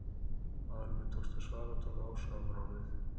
Áður en mér tókst að svara tók Ása af mér orðið.